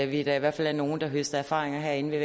vi da i hvert fald er nogle der høster erfaringer herinde ved